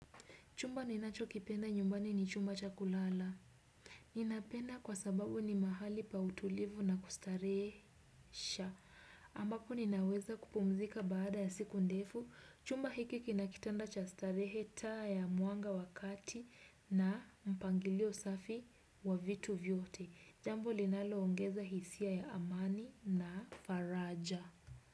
Chumba ninachokipenda nyumbani ni chumba cha kulala. Ninapenda kwa sababu ni mahali pa utulivu na kustarehesha. Ambapo ninaweza kupumzika baada ya siku ndefu. Chumba hiki kina kitanda cha starehe, taa ya mwanga wa kati na mpangilio safi wa vitu vyote. Jambo linaloongeza hisia ya amani na faraja.